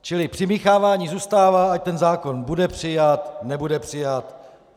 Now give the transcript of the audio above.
Čili přimíchávání zůstává, ať ten zákon bude přijat, nebude přijat.